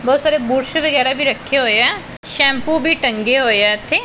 ਬਹੁਤ ਸਾਰੇ ਬੁਰਸ਼ ਵਗੈਰਾ ਵੀ ਰੱਖੇ ਹੋਏ ਆ ਸ਼ੈਮਪੂ ਵੀ ਟੰਗੇ ਹੋਏ ਆ ਇਥੇ--